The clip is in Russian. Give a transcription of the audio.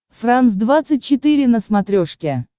франс двадцать четыре на смотрешке